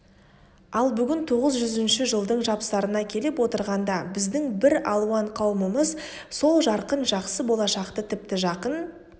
ал бүгін тоғыз жүзінші жылдың жапсарына келіп отырғанда біздің бір алуан қауымымыз сол жарқын жақсы болашақты тіпті жақын